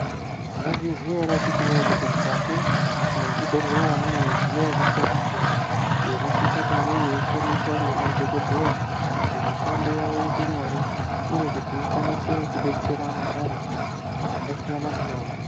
Mwaizviziya ere akiti woye kuti mukati mwezvibhedhleya mune midziyo yakasiyana siyana iyi inosisa kunge yeishandiswa ngemadhokodheya kuti mishando yawo iite nyore uye kuti ikwanise kudetsera vantu vakasiyana siyana.